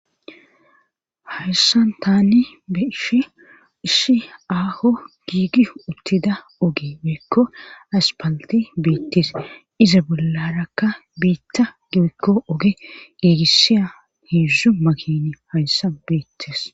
Hayssan taani beishi ishi aaho giigi uttida oge beekko aspalti beettes iza bollarakka biitta geekko oge giigissiya hiizu makini hayssa beettes.